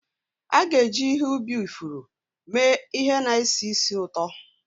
A ga-eji ihe ubi ifuru mee ihe na-esi ísì ụtọ.